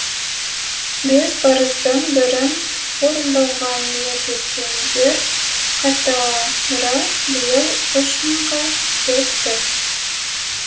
бес парыздың бірін орындауға ниет еткендер қатары биыл үш мыңға жетті